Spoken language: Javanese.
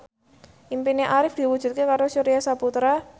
impine Arif diwujudke karo Surya Saputra